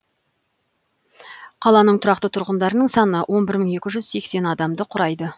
қаланың тұрақты тұрғындарының саны он бір мың екі жүз сексен адамды құрайды